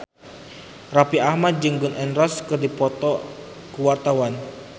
Raffi Ahmad jeung Gun N Roses keur dipoto ku wartawan